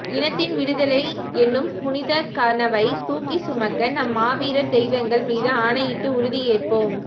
இனத்தின் விடுதலை எனும் புனிதக்கனவைத் தூக்கிச் சுமக்க நம் மாவீரர் தெய்வங்கள் மீது ஆணையிட்டு உறுதியேற்போம்